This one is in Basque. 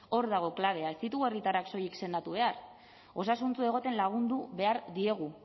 hor dago klabea ez ditugu herritarrak soilik sendatu behar osasuntsu egoten lagundu behar diegu